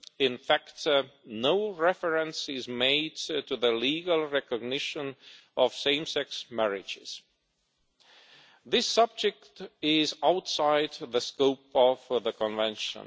In fact, no reference is made to the legal recognition of same sex marriages this subject is outside of the scope of the Convention.